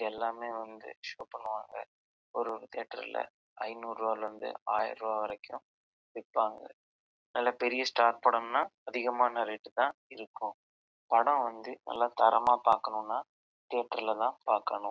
எல்லாமே வந்து ஷூட் பண்ணுவாங்க ஒரு ஒரு தியேட்டர்ல ஐநூறு ரூபாய்ல இருந்து ஆயிரம் ரூபாய் வரைக்கும் விப்பாங்க நல்ல பெரிய ஸ்டார் படம்னா அதிகமான ரேட் தான் இருக்கும் படம் வந்து நல்லா தரமா பாக்கணும்னா தியேட்டர்ல தான் பாக்கனும்.